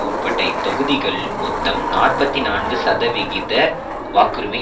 உட்பட இத் தொகுதிகள் மொத்தம் நாற்பத்தி நான்கு சதவிகித வாக்குரிமை